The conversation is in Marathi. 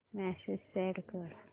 मेसेज सेंड कर